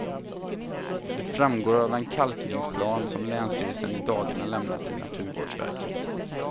Det framgår av den kalkningsplan som länsstyrelsen i dagarna lämnat till naturvårdsverket.